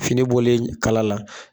Finibɔlen kala la